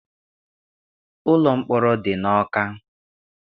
Ụlọ mkpọrọ dị n'Ọka.